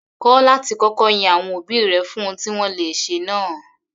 Kọ́ láti kọ́kọ́ yin àwọn òbí rẹ fún ohun tí wọ́n le ṣe náà.